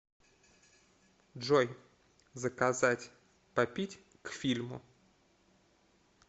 джой заказать попить к фильму